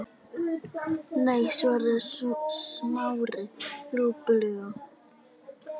Nei- svaraði Smári lúpulega.